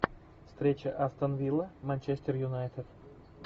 встреча астон вилла манчестер юнайтед